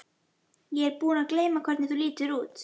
Ég er búin að gleyma hvernig þú lítur út.